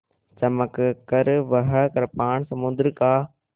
चमककर वह कृपाण समुद्र का